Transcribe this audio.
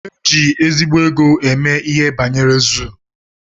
Éjị ezigbo égo eme ihe banyere zuu.